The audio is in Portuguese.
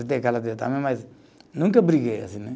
Karatê também, mas nunca briguei assim né